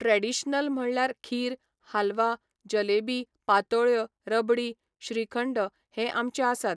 Traditional म्हणल्यार खीर, हालवा, जलेबी, पातोळ्यो, रबडी, श्रीखंड हें आमचें आसात.